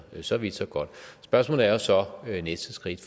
så vidt så godt spørgsmålet er jo så næste skridt